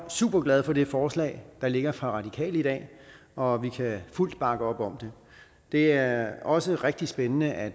superglad for det forslag der ligger fra radikale i dag og vi kan fuldt bakke op om det det er også rigtig spændende at